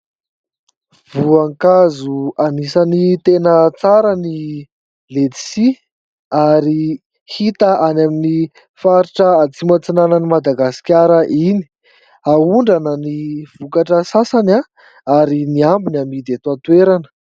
Voankazo anisany tena tsara ny ledisia ary hita any amin'ny faritra atsimo antsinanan'i Madagasikara iny, ahondrana ny vokatra sasany ary ny ambiny amidy ato an-toerana.